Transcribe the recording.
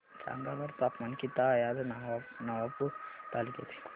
सांगा बरं तापमान किता आहे आज नवापूर तालुक्याचे